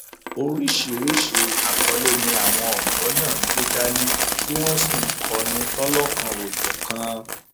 oríṣiríṣii àkọlé ni àwọn ọdọ náà gbé dání tí wọn sì ń kọrin lọlọkanòjọkan